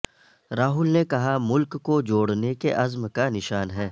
راہل نے کہا ملک کو جوڑنے کے عزم کا نشان ہے